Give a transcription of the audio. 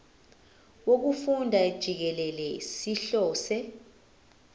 wokufunda jikelele sihlose